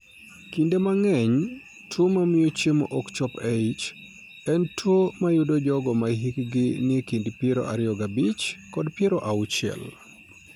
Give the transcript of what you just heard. Kinde mang'eny, tuo mamio chiemo ok chop e ich en tuwo ma yudo jogo ma hikgi nie kind piero ario gi abich kod piero uchiel.